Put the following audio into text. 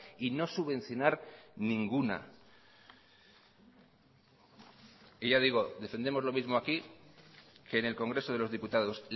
y no subvencionar ninguna y ya digo defendemos lo mismo aquí que en el congreso de los diputados